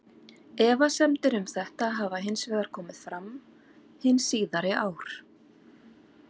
Efasemdir um þetta hafa hins vegar komið fram hin síðari ár.